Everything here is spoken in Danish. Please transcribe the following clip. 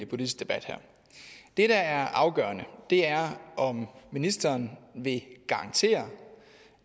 politisk debat her det der er afgørende er om ministeren vil garantere